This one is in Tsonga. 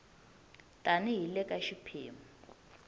tani hi le ka xiphemu